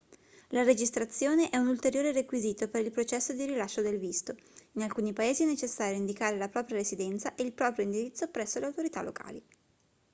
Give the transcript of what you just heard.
la registrazione è un ulteriore requisito per il processo di rilascio del visto in alcuni paesi è necessario indicare la propria residenza e il proprio indirizzo presso le autorità locali